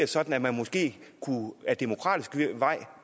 sådan at man måske ad demokratisk vej